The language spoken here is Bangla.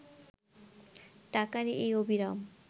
টাকার এই অবিরাম